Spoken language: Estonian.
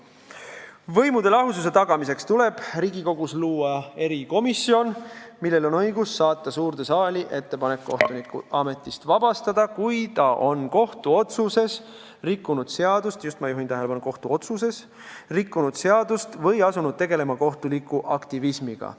Võimude lahususe tagamiseks tuleb Riigikogus luua erikomisjon, millel on õigus saata suurde saali ettepanek kohtunik ametist vabastada, kui ta on kohtuotsuses rikkunud seadust – ma juhin tähelepanu, et just kohtuotsuses rikkunud seadust – või asunud tegelema kohtuliku aktivismiga.